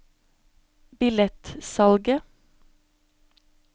billettsalget